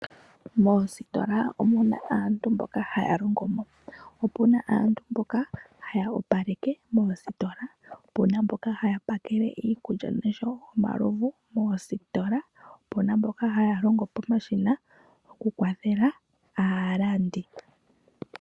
Moositola omu na aantu mboka haya longomo, opu na aantu mboka haya opaleke moositola, opu na mboka haya pakele iikulya noshwo omalovu moositola, opu na mboka haya longo pomashina okukwathela aalandi.